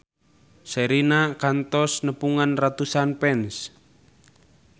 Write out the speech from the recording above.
Sherina kantos nepungan ratusan fans